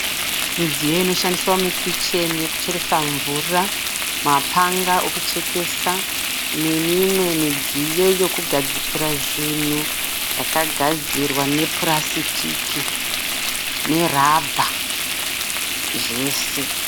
Midziyo inoshandiswa mukicheni yekucheresa mvura. Mapanga ekuchekesa nemimwe midziyo yekugadzikira zvinhu yakagadzirwa nepurasitiki nerabha zvese.